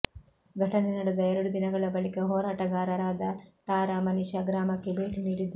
ಘಟನೆ ನಡೆದ ಎರಡು ದಿನಗಳ ಬಳಿಕ ಹೋರಾಟಗಾರರಾದ ತಾರಾ ಮನಿ ಶಾ ಗ್ರಾಮಕ್ಕೆ ಭೇಟಿ ನೀಡಿದ್ದಾರೆ